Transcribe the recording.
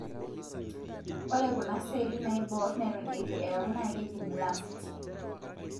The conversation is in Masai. ore kuna seli naibor neton etu eaku na kejii blast.